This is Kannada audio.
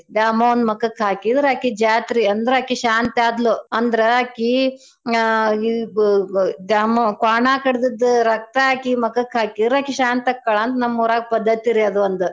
ದ್ಯಾಮವ್ವನ್ ಮಕಕ್ ಹಾಕೀದ್ರ ಆಕಿ ಜಾತ್ರೀ ಅಂದ್ರ ಆಕಿ ಶಾಂತ್ಯಾದ್ಲೂ. ಅಂದ್ರ ಆಕಿ ನ್ಞ ಗು~ ಗು~ ದ್ಯಾಮವ್ವ ಕ್ವಾಣಾಕಡ್ದಿದ್ ರಕ್ತಾ ಹಾಕಿ ಮಕಕ್ಕ ಹಾಕಿದ್ರ ಆಕಿ ಶಾಂತ್ಯಾಕಳಾ ಅಂತ್ ನಮ್ ಊರಾಗ ಪದ್ದತಿ ರೀ ಅದೊಂದ್ .